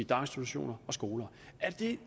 daginstitutioner og skoler